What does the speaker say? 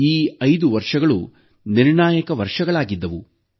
ಈ 5 ವರ್ಷಗಳು ನಿರ್ಣಾಯಕ ವರ್ಷಗಳಾಗಿದ್ದವು